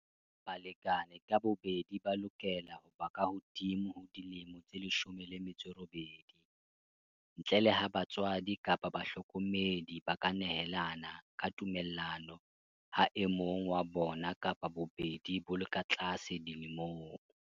Balekane ka bobedi ba lokela ho ba kahodimo ho dilemo tse 18, ntle le ha batswadi kapa bahlokomedi ba ka nehelana ka tumellano ha e mong wa bona kapa bobedi bo le ka tlase dilemong.